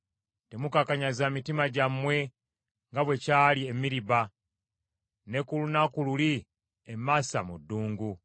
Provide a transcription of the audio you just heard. “Temukakanyaza mitima gyammwe nga bwe kyali e Meriba , ne ku lunaku luli e Maasa mu ddungu;